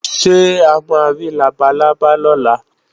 Ṣé a ma rí labalábá lọ́la?